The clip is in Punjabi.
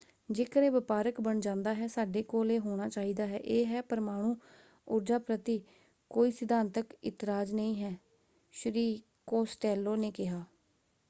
ਜੇਕਰ ਇਹ ਵਪਾਰਕ ਬਣ ਜਾਂਦਾ ਹੈ ਸਾਡੇ ਕੋਲ ਇਹ ਹੋਣਾ ਚਾਹੀਦਾ ਹੈ। ਇਹ ਹੈ ਪਰਮਾਣੂ ਊਰਜਾ ਪ੍ਰਤੀ ਕੋਈ ਸਿਧਾਂਤਕ ਇਤਰਾਜ਼ ਨਹੀਂ ਹੈ” ਸ਼੍ਰੀ ਕੋਸਟੇਲੋ ਨੇ ਕਿਹਾ।